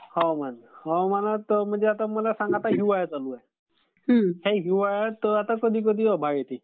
हवामान. आता मला सांगा सध्या हिवाळा चालू आहे. ह्या हिवाळ्यात कधी कधी आभाळ येते.